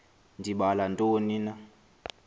ndibala ntoni na